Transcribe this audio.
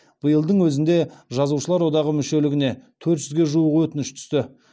биылдың өзінде жазушылар одағы мүшелігіне төрт жүзге жуық өтініш түсті